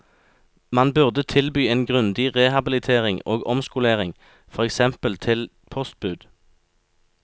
Man burde tilby en grundig rehabilitering og omskolering, for eksempel til postbud.